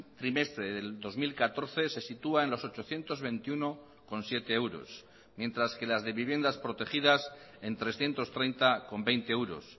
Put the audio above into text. trimestre del dos mil catorce se sitúa en los ochocientos veintiuno coma siete euros mientras que las de viviendas protegidas en trescientos treinta coma veinte euros